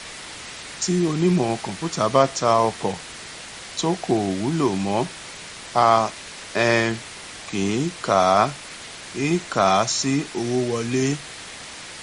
tí onímọ kọǹpútà bá ta ọkọ tó kò wúlò mọ a um kì í kà á í kà á sí owó wọlé